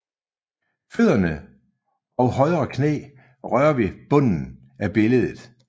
Fødderne og højre knæ rører ved bunden af billedet